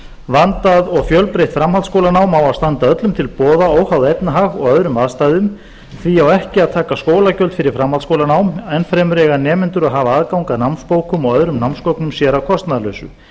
vandað og fjölbreytt framhaldsskólanám á að standa öllum til boða óháð efnahag eða öðrum aðstæðum því á ekki að taka skólagjöld fyrir framhaldsskólanám ennfremur eiga nemendur að hafa aðgang að námsbókum og öðrum námsgögnum sér að kostnaðarlausu